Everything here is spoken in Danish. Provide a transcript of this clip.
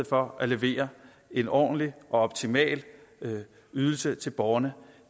for at levere en ordentlig og optimal ydelse til borgerne